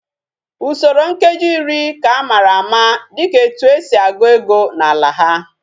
Usoro nkeji iri ka amara ama dika etu esi egu ego na ala ha